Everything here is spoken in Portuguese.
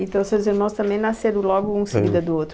Então seus irmãos também nasceram logo um em seguida do outro?